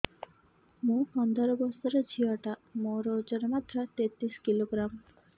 ମୁ ପନ୍ଦର ବର୍ଷ ର ଝିଅ ଟା ମୋର ଓଜନ ମାତ୍ର ତେତିଶ କିଲୋଗ୍ରାମ